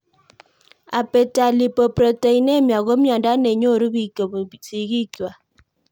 Abetalipoproteinemia ko miondo ne nyoru pik kopun sig'ik kwai